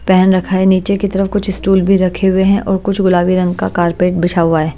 Pen रखा है नीचे की तरफ कुछ स्टूल भी रखे हुए हैं और कुछ गुलाबी रंग का कारपेट बिछा हुआ है।